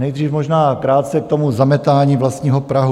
Nejdřív možná krátce k tomu zametání vlastního prahu.